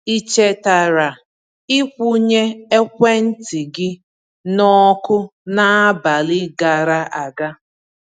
Ị chetara ị kwụnye ekwentị gị n'ọkụ n’abalị gara aga?